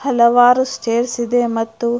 ಹಲವಾರು ಸ್ಟೇರ್ಸ್ ಇದೆ ಮತ್ತು --